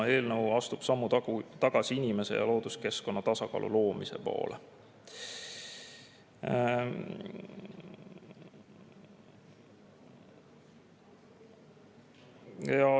Eelnõu astub sammu tagasi inimese ja looduskeskkonna tasakaalu loomise poole.